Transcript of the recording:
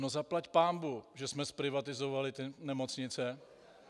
No zaplať pánbůh, že jsme zprivatizovali ty nemocnice.